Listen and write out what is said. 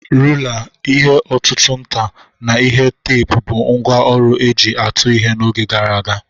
Rula, ihe ọ̀tụ̀tụ̀ nta, na ihe teepu bụ ngwá ọrụ e ji atụ ihe n'oge gara aga.